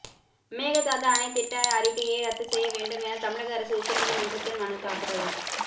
மேகதாது அணை திட்ட அறிக்கையை ரத்து செய்ய வேண்டும் என தமிழக அரசு உச்சநீதிமன்றத்தில் மனுதாக்கல்